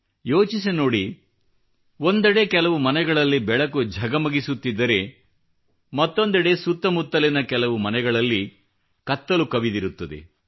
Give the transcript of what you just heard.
ಯೋಚಿಸಿ ನೋಡಿ ಒಂದೆಡೆ ಕೆಲವು ಮನೆಗಳಲ್ಲಿ ಬೆಳಕು ಝಗಮಗಿಸುತ್ತಿದ್ದರೆ ಮತ್ತೊಂದೆಡೆ ಸುತ್ತ ಮುತ್ತಲಿನ ಕೆಲವು ಮನೆಗಳಲ್ಲಿ ಕತ್ತಲು ಹರಡಿರುತ್ತದೆ